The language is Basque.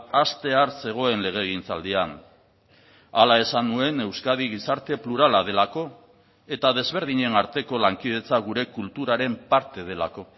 hastear zegoen legegintzaldian hala esan nuen euskadi gizarte plurala delako eta desberdinen arteko lankidetza gure kulturaren parte delako